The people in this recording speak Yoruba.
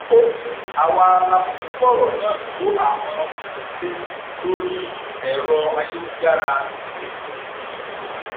ó ní àwa la kúkú fọrọ náà tó àwọn òbí létí lórí ẹrọ ayélujára cctv